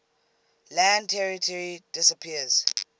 land territory disappears